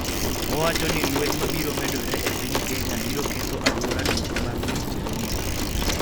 Owacho ni lweny mabiro medore e piny Kenya biro ketho alwora duto mar Mediterranean.